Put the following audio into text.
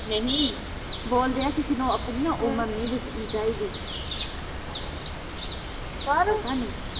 ਨਹੀਂ ਬੋਲਦੇ ਆ ਕਿਸੇ ਨੂੰ ਆਪਣੀ ਨਾ ਉਮਰ ਨੀਂ ਦੱਸਣੀ ਚਾਹੀਦੀ ਪਤਾ ਨੀਂ।